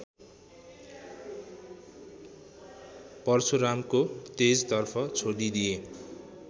परशुरामको तेजतर्फ छोडिदिए